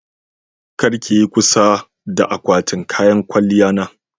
kar ki Yi kusa a akwatin kayan kwalya na.